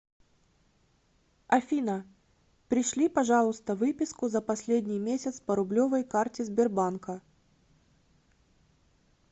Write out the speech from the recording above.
афина пришли пожалуйста выписку за последний месяц по рублевой карте сбербанка